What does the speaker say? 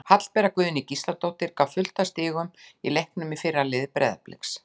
Hallbera Guðný Gísladóttir gaf fullt af stigum í leiknum í fyrra í liði Breiðabliks.